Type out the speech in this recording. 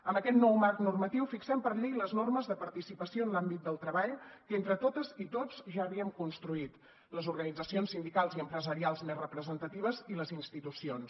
amb aquest nou marc normatiu fixem per llei les normes de participació en l’àmbit del treball que entre totes i tots ja havíem construït les organitzacions sindicals i empresarials més representatives i les institucions